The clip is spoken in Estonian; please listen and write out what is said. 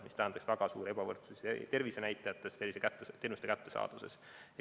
See tähendaks väga suurt ebavõrdsust tervisenäitajates ja teenuste kättesaadavuses.